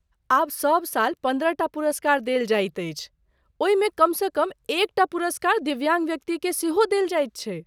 आब सब साल पन्द्रहटा पुरस्कार देल जाइत अछि, ओहिमे कमसँ कम एकटा पुरस्कार दिव्याङ्ग व्यक्तिकेँ सेहो देल जाइत छैक।